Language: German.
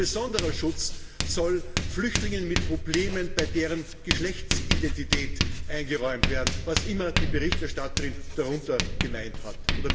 Ein besonderer Schutz soll Flüchtlingen mit Problemen bei ihrer Geschlechtsidentität eingeräumt werden, was immer die Berichterstatterin damit gemeint hat.